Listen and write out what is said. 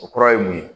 O kura ye mun ye